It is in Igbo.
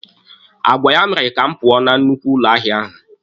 Agwa ya mere ka m pụọ na nnukwu ụlọ ahịa ahụ.